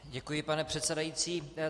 Děkuji, pane předsedající.